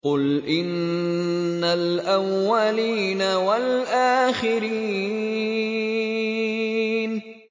قُلْ إِنَّ الْأَوَّلِينَ وَالْآخِرِينَ